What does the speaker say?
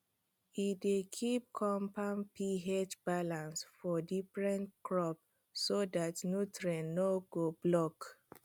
e dey keep confam ph balance for different crops so dat nutrients no go block